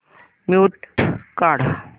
mute काढ